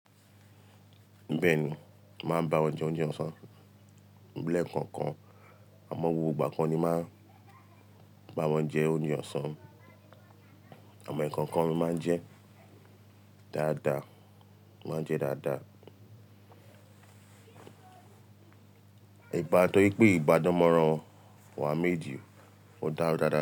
Bẹ́ẹ̀ni, màá bá wọn jẹ oúnjẹ ọ̀sán. Léèkòòkan, àmó gbogbo ìgbà kò ní máa n je ounje òsán, àmó léèkòòkan mo máa ń je dáadáa, mo máa ń je dáadáa. Ìgbádùn yí pé ìgbádùn mọ́ran wá méjì, ó dára dáadáa.